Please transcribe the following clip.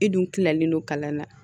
I dun tilalen don kalan na